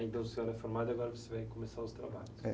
Aí, então, o senhor é formado, agora você vai começar os trabalhos..